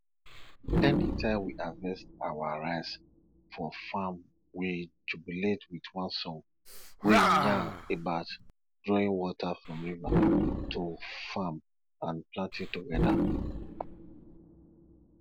anytime we harvest our rice for farm we jubilate with one song wey yarn about drawing water from river to farm and planting together